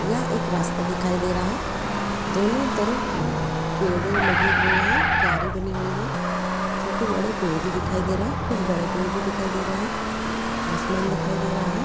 यहा एक रास्ता दिखाई दे रहा है दोनों तरफ पेड़ लगे हुए है क्यारी बनी हुई है। छोटे बड़े पेड़ भी दिखाई दे रहे है कुछ बड़े पेड़ भी दिखाई दे रहे है आसमान दिखाई दे रहा है।